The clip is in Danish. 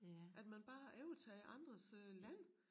At man bare overtager andres øh land